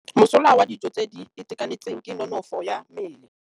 Mosola wa dijô tse di itekanetseng ke nonôfô ya mmele.